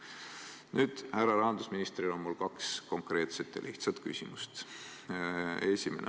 Mul on härra rahandusministrile kaks konkreetset ja lihtsat küsimust.